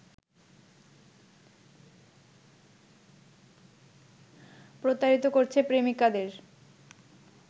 প্রতারিত করছে প্রেমিকাদের।